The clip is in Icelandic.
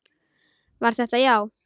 Var þetta já?